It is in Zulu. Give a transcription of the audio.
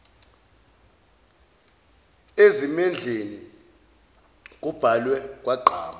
ezimendleni kubhalwe kwagqama